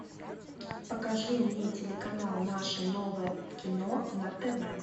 покажи мне телеканал наше новое кино на тв